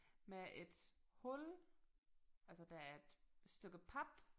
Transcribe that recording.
Med et hul altså der er et stykke pap